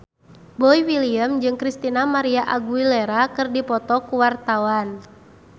Boy William jeung Christina María Aguilera keur dipoto ku wartawan